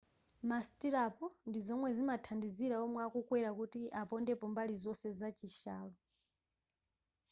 ma stirrup ndizomwe zimathandizira omwe akwera kuti apondepo mbali zonse za chishalo